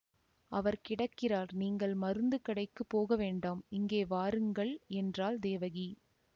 அவர் கிடக்கிறார் நீங்கள் மருந்து கடைக்குப் போக வேண்டாம் இங்கே வாருங்கள் என்றாள் தேவகி